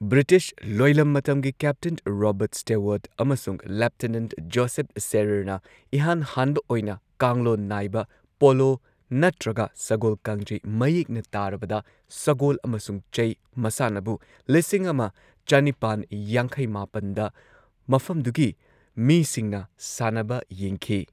British ꯂꯣꯏꯂꯝ ꯃꯇꯝꯒꯤ captain Robert Stewart ꯑꯃꯁꯨꯡ ꯂꯦꯐꯇꯦꯅꯦꯟꯠ ꯖꯣꯁꯦꯐ ꯁꯦꯔꯦꯔꯅ ꯏꯍꯥꯟ ꯍꯥꯟꯕ ꯑꯣꯏꯅ ꯀꯥꯡꯂꯣꯟ ꯅꯥꯏꯕ ꯄꯣꯂꯣ ꯅꯠꯇ꯭ꯔꯒ ꯁꯒꯣꯜꯀꯥꯡꯖꯩ ꯃꯌꯦꯛꯅ ꯇꯥꯔꯕꯗ, ꯁꯒꯣꯜ ꯑꯃꯁꯨꯡ ꯆꯩ ꯃꯁꯥꯟꯅꯕꯨ ꯂꯤꯁꯤꯡ ꯑꯃ ꯆꯅꯤꯄꯥꯟ ꯌꯥꯡꯈꯩ ꯃꯥꯄꯟꯗ ꯃꯐꯝꯗꯨꯒꯤ ꯃꯤꯁꯤꯡꯅ ꯁꯥꯟꯅꯕ ꯌꯦꯡꯈꯤ꯫